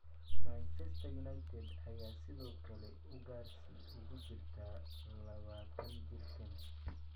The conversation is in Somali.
Manchester United ayaa sidoo kale ugaarsi ugu jirta labataan jirkaan.